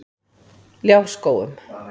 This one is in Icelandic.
Ljárskógum